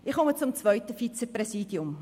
Ich komme zum zweiten Vizepräsidium: